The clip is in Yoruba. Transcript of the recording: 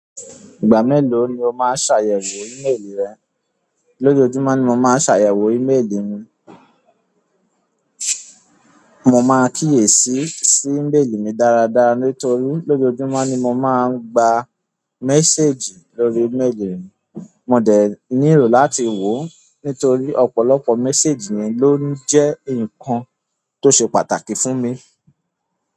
Ìgbà mélòó ni o máa ń ṣàyẹ̀wò ni ìle ìlera? Lójoójúmọ́ ni mo máa ń ṣàyẹ̀wò ímélì mi. Mo máa ń kíyèsí sí ímèèlì mi dára dára nítorí lójoójúmọ́ ni mo máa ń gba méséjì lórí ímélì mi. Mo dẹ̀ nílò láti wò ó nítorí ọ̀pọ̀lọpọ̀ méséjì mi ló ń jẹ́ ǹkan tó ṣe pàtàkì fún mi.